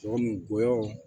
Sogo mun goyɔ